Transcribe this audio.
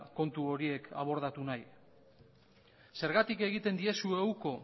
kontu horiek abordatu nahi zergatik egiten diezue uko